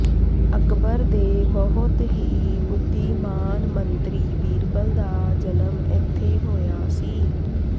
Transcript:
ਅਕਬਰ ਦੇ ਬਹੁਤ ਹੀ ਬੁਧੀਮਾਨ ਮੰਤਰੀ ਬੀਰਬਲ ਦਾ ਜਨਮ ਇੱਥੇ ਹੋਇਆ ਸੀ